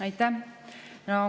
Aitäh!